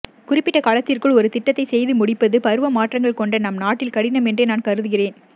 குறிப்பிட்ட காலத்திற்குள் ஒரு திட்டத்தை செய்து முடிப்பது பருவ மாற்றங்கள் கொண்ட நம் நாட்டில் கடினம் என்றே நான் கருதுகிறேன்